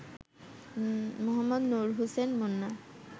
Md. Nur Hossain Munna